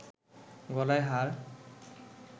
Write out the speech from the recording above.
গলায় হার